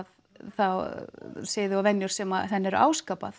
þá siði og venjur sem henni eru